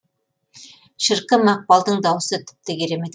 шіркін мақпалдың дауысы тіпті керемет